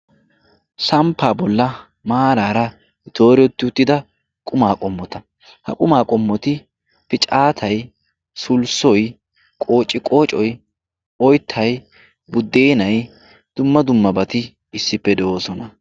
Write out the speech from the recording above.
Samppa bolla maarara dooretti uttidda qumma qomotta, ha qumma qomotti piccattay, suulissoy, qoociqoccoy, oyttay, buddenay dumma dummabatti issippe de'ossona.